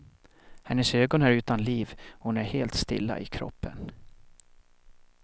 Hennes ögon är utan liv och hon är helt stilla i kroppen.